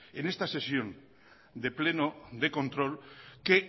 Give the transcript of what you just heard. en esta sesión de pleno de control que